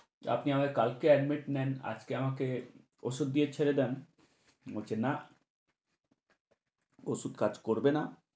তো আপনি আমায় কালকে admit নেন, আজকে আমাকে ঔষধ দিয়ে ছেড়ে দেন। ও বলছে না, ঔষধ কাজ করবে না।